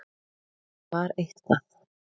Það var eitthvað.